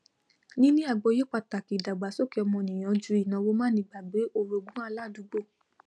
níní àgbọyé pàtàkì ìdàgbàsókè ọmọnìyàn ju ìnàwó manígbàgbé orogún aládùúgbò